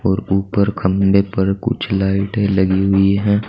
और ऊपर खंभे पर कुछ लाइटें लगी हुई हैं।